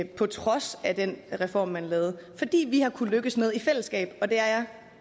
på trods af den reform man lavede fordi vi har kunnet lykkes med i fællesskab og det er jeg